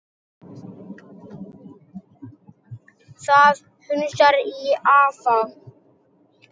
Það hnussar í afa.